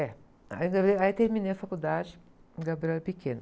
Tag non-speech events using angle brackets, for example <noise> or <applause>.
É. Aí, <unintelligible> aí terminei a faculdade, o Gabriel era pequeno.